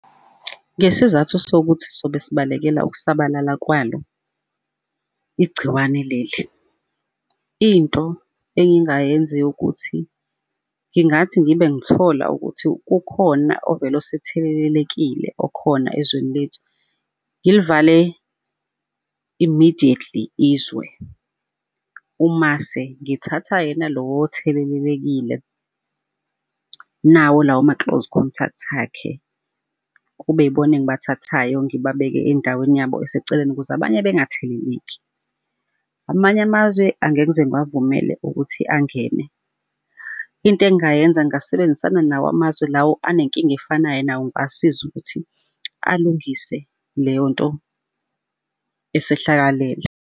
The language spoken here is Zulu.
Ngesizathu sokuthi sobe sibalekela ukusabalala kwalo igciwane leli. Into engingayenza eyokuthi, ngingathi ngibe ngithola ukuthi kukhona ovele osethelelelekile okhona ezweni lethu, ngilivale immidietly izwe, umase ngithatha yena lowo othelelelekile nawo lawo ma-close contact akhe, kube yibona engibathathayo ngibabeke endaweni yabo eseceleni ukuze abanye bengatheleleki. Amanye amazwe angeke ngize ngibavumele ukuthi angene. Into engingayenza ngingasebenzisana nawo amazwe lawo anenkinga efanayo nawo ngibasize ukuthi alungise leyo nto esehlakalele.